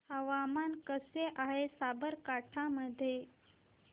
हवामान कसे आहे साबरकांठा मध्ये